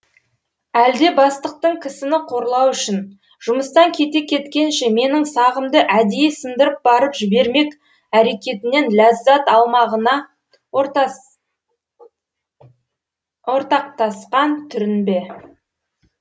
әлде бастықтың кісіні қорлау үшін жұмыстан кете кеткенше менің сағымды әдейі сындырып барып жібермек әрекетінен ләззат алмағына ортақтасқан түрің бе